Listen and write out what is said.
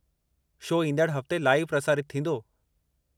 Show ईंदड़ हफ़्ते live प्रसारितु थींदो।